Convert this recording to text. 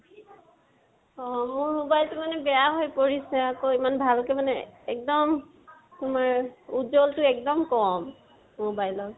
অহ। মোৰ mobile টো মানে বেয়া পৰিছে আকৌ, এমান ভালকে মানে এক্দম তোমাৰ উজ্বলটো একদম কম, mobile ৰ